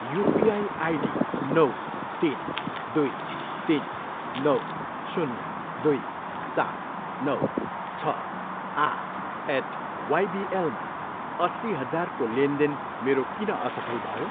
UPI ID नौ, तिन, दुई, तिन, नौ, शून्य, दुई, सात, नौ, छ, आठ एट वाइबिएलमा अस्सी हजारको लेनदेन मेरो किन असफल भयो?